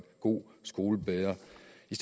god skole bedre